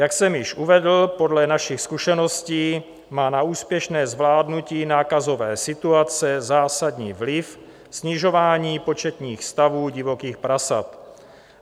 Jak jsem již uvedl, podle našich zkušeností má na úspěšné zvládnutí nákazové situace zásadní vliv snižování početních stavů divokých prasat.